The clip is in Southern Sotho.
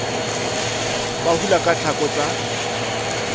ba hula ka tlhako tsa